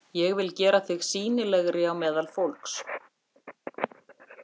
Ég vil gera þig sýnilegri á meðal fólks